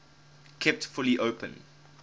kept fully open